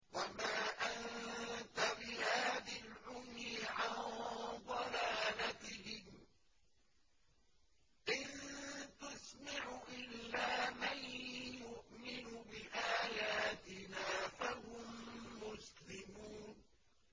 وَمَا أَنتَ بِهَادِ الْعُمْيِ عَن ضَلَالَتِهِمْ ۖ إِن تُسْمِعُ إِلَّا مَن يُؤْمِنُ بِآيَاتِنَا فَهُم مُّسْلِمُونَ